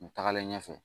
U tagalen ɲɛfɛ